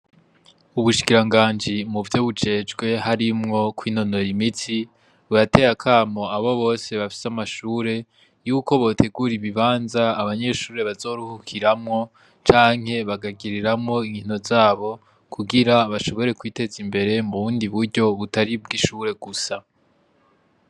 Ubushikiranganji muvyo bujejwe harimwo kwinonora imitsi, burateye akamo abo bose bafise amashure, yuko botegura ibibanza abanyeshure bazoruhukiramwo canke bagakiniramwo inkino zabo kugira bashobora kwiteza imbere mu bundi buryo butari ubwishure gusa.